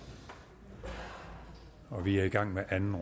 og vi er i gang med anden